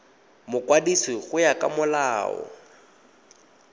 mokwadisi go ya ka molao